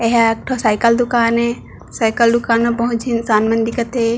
एहा एक ठो साइकिल दुकान ए साइकिल दुकान में बहुत इंसान मन दिखत हे।